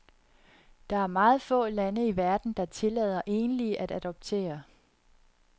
Der er meget få lande i verden, der tillader enlige at adoptere.